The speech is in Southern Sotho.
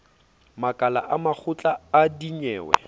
makala a makgotla a dinyewe